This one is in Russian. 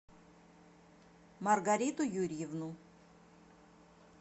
маргариту юрьевну